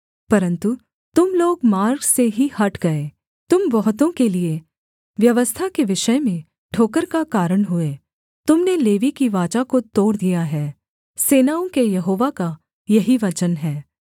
परन्तु तुम लोग मार्ग से ही हट गए तुम बहुतों के लिये व्यवस्था के विषय में ठोकर का कारण हुए तुम ने लेवी की वाचा को तोड़ दिया है सेनाओं के यहोवा का यही वचन है